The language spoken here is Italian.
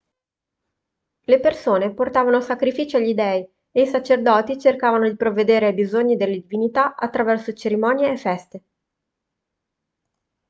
le persone portavano sacrifici agli dei e i sacerdoti cercavano di provvedere ai bisogni delle divinità attraverso cerimonie e feste